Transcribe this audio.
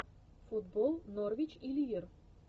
футбол норвич и ливер